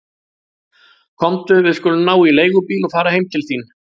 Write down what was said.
Komdu, við skulum ná í leigubíl og fara heim til þín.